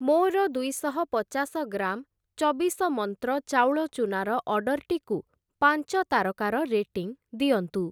ମୋର ଦୁଇଶହ ପଚାଶ ଗ୍ରାମ୍ ଚବିଶ ମନ୍ତ୍ର ଚାଉଳ ଚୂନାର ଅର୍ଡ଼ର୍‌ଟିକୁ ପାଞ୍ଚ ତାରକାର ରେଟିଂ ଦିଅନ୍ତୁ ।